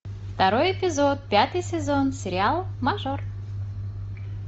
второй эпизод пятый сезон сериал мажор